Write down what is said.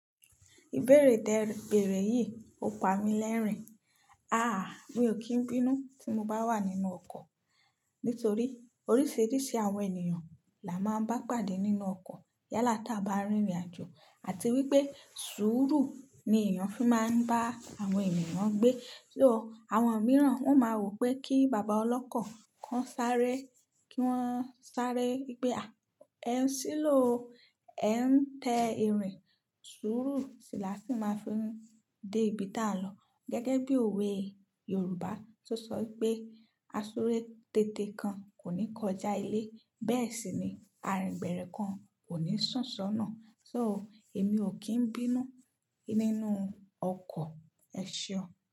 Ìbéèrè tẹ́ẹ bèèrè yìí ó pa mi lẹ́rìn-ín. Mi ò kí ń bínú tí mo bá wà nínú ọkọ̀. Nítorí oríṣìíríṣìí àwọn ènìyàn la máa ń bá pàdé nínú ọkọ̀ yálà táa bá ń rìnrìn-àjò àti wípé sùúrù ni èèyàn fi máa ń bá àwọn ènìyàn gbé. So, àwọn mìíràn wọn máa wòó pé kí bàbá ọlọ́kọ̀ k'ọ́n sáré kí wọ́n sáré pé ẹ̀ ń ṣílóò o, ẹ̀ ń tẹ ìrìn. Sùúrù sì làá sì máa ń fi ń dé ibi táà ń lọ. Gẹ́gẹ́ bí òwe Yorùbá tó sọ wípé, "asúre téte kan kò ní kọjá ilé." Bẹ́ẹ̀ sì ni, arìn gbẹ̀rẹ̀ kan kò ní sùn sọ́nà. So, èmi ò kí n bínú nínú ọkọ̀. Ẹ ṣeun.